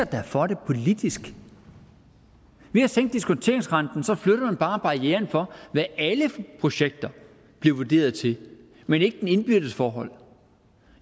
da for det politisk ved at sænke diskonteringsrenten flytter man bare barrieren for hvad alle projekter bliver vurderet til men ikke det indbyrdes forhold